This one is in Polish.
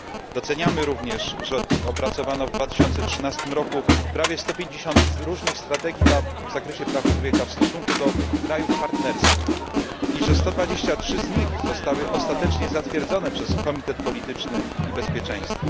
Doceniamy również, że opracowano w 2013 roku prawie 150 różnych strategii w zakresie praw człowieka w stosunku do krajów partnerskich i że 123 z nich zostały ostatecznie zatwierdzone przez Komitet Polityczny i Bezpieczeństwa.